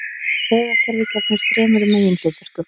Taugakerfið gegnir þremur meginhlutverkum.